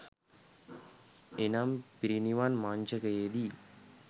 එනම් පිරිනිවන් මඤ්චකයේදී